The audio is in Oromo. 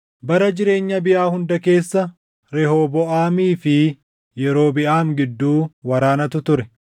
Bara jireenya Abiyaa hunda keessa Rehooboʼaamii fi Yerobiʼaam gidduu waraanatu ture.